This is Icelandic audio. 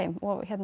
og